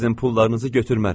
Sizin pullarınızı götürmərəm.